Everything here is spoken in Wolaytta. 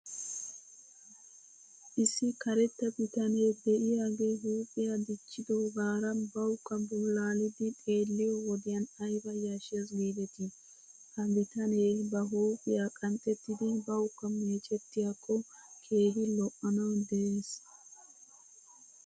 Issi karetta bitanee de'iyaagee huuphiyaa dichchidoogaara bawkka bulaalidi xeelliyoo wodiyan ayba yashshes giidetii? He bitanee ba huuphiyaa qanxxettidi bawkka meecettiyaako keehi lo'anaw des.